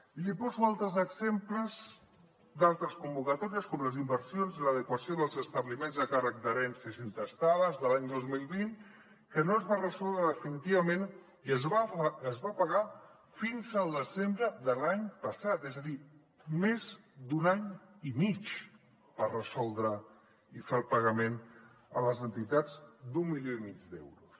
i li poso altres exemples d’altres convocatòries com les inversions en l’adequació dels establiments a càrrec d’herències intestades de l’any dos mil vint que no es va resoldre definitivament i no es va pagar fins al desembre de l’any passat és a dir més d’un any i mig per resoldre i fer el pagament a les entitats d’un milió i mig d’euros